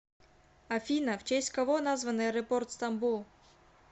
афина в честь кого назван аэропорт стамбул